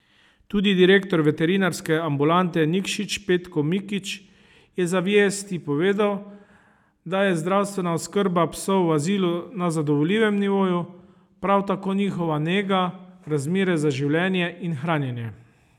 Tudi direktor veterinarske ambulante Nikšić Petko Mikić je za Vijesti povedal, da je zdravstvena oskrba psov v azilu na zadovoljivem nivoju, prav tako njihova nega, razmere za življenje in hranjenje.